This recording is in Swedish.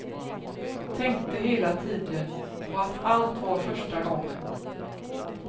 Tänkte hela tiden på att allt var första gången.